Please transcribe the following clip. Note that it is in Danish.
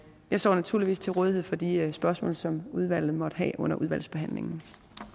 jeg står naturligvis til rådighed for de spørgsmål som udvalget måtte have under udvalgsbehandlingen